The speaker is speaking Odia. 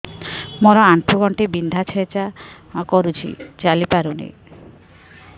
ମୋର ଆଣ୍ଠୁ ଗଣ୍ଠି ବିନ୍ଧା ଛେଚା କରୁଛି ଚାଲି ପାରୁନି